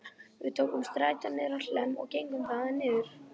Við tókum strætó niður á Hlemm og gengum þaðan niður